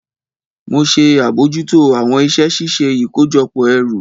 Mo ṣe abojuto awọn iṣẹ ṣiṣe ikojọpọ ẹru.